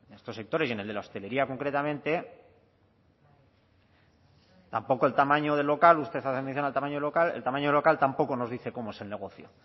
estos sectores y en el de la hostelería concretamente tampoco el tamaño del local usted hace mención al tamaño del local el tamaño del local tampoco nos dice cómo es el negocio